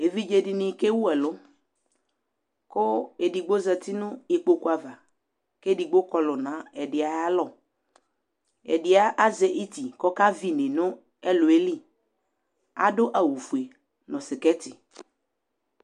Evidze dini kewu ɛlu ku edigbo di zati nu ikpoku ava keedigbo di kɔlu nu edigbo ayu alɔ ɛdi azɛ iti ku ɔka vɩ ine nu ɛlʊ ɛli adu awu ofue nu